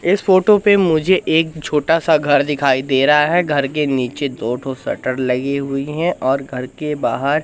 इस फोटो पे मुझे एक छोटा सा घर दिखाई दे रहा है घर के नीचे दोनों शटर लगी हुई हैं और घर के बाहर--